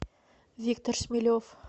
виктор шмелев